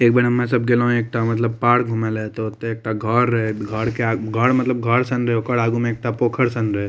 एक बार हमनी सब गेलो पार्क घुमेले तो ओते एक ठो घर घर के आगे ओकर आगू में एक ठो पोखर रहे।